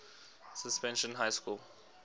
suspension high school